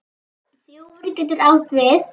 Þjófur getur átt við